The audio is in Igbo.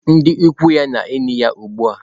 Ndị ikwu ya na-eli ya ugbu a.